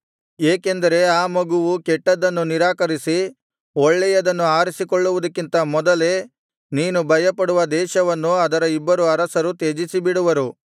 ಏಕೆಂದರೆ ಆ ಮಗುವು ಕೆಟ್ಟದ್ದನ್ನು ನಿರಾಕರಿಸಿ ಒಳ್ಳೆಯದನ್ನು ಆರಿಸಿಕೊಳ್ಳುವುದಕ್ಕಿಂತ ಮೊದಲೇ ನೀನು ಭಯಪಡುವ ದೇಶವನ್ನು ಅದರ ಇಬ್ಬರು ಅರಸರು ತ್ಯಜಿಸಿಬಿಡುವರು